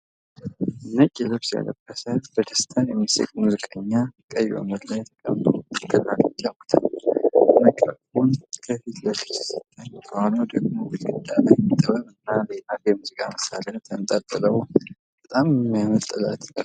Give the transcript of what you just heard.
ነጭ ልብስ የለበሰ፣ በደስታ የሚስቅ ሙዚቀኛ ቀይ ወንበር ላይ ተቀምጦ ክራር ይጫወታል። ማይክሮፎን ከፊት ለፊቱ ሲታይ፤ ከኋላው ደግሞ ግድግዳ ላይ ጥበብና ሌላ የሙዚቃ መሣሪያ ተንጠልጥሏል። በጣም የሚያር ጥለት ለብሷል ።